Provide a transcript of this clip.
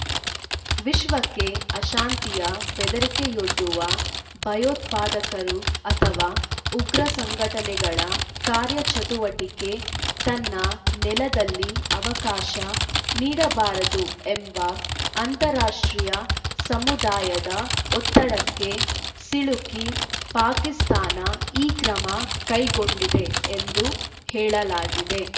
ವಿಶ್ವಕ್ಕೆ ಅಶಾಂತಿಯ ಬೆದರಿಕೆಯೊಡ್ಡುವ ಭಯೋತ್ಪಾದಕರು ಅಥವಾ ಉಗ್ರ ಸಂಘಟನೆಗಳ ಕಾರ್ಯಚಟುವಟಿಕೆಗೆ ತನ್ನ ನೆಲದಲ್ಲಿ ಅವಕಾಶ ನೀಡಬಾರದು ಎಂಬ ಅಂತಾರಾಷ್ಟ್ರೀಯ ಸಮುದಾಯದ ಒತ್ತಡಕ್ಕೆ ಸಿಲುಕಿ ಪಾಕಿಸ್ತಾನ ಈ ಕ್ರಮ ಕೈಗೊಂಡಿದೆ ಎಂದು ಹೇಳಲಾಗಿದೆ